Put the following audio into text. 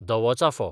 धवो चाफो